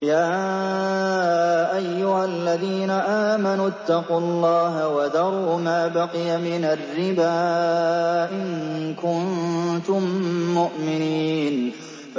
يَا أَيُّهَا الَّذِينَ آمَنُوا اتَّقُوا اللَّهَ وَذَرُوا مَا بَقِيَ مِنَ الرِّبَا إِن كُنتُم مُّؤْمِنِينَ